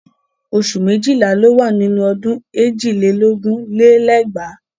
Oṣù méjìlá ló wà nínú ọdún èjì lé lógún lé lẹ́gbàá.